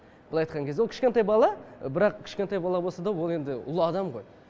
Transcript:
былай айтқан кезде ол кішкентай бала бірақ кішкентай бала болса да ол енді ұлы адам ғой